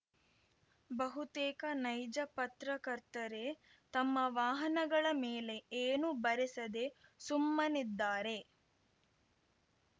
ಬಹುತೇಕ ನೈಜ ಪತ್ರಕರ್ತರೇ ತಮ್ಮ ವಾಹನಗಳ ಮೇಲೆ ಏನೂ ಬರೆಸದೆ ಸುಮ್ಮನಿದ್ದಾರೆ